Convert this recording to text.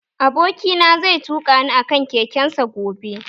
Aboki na zai tuƙa ni a kan keken sa gobe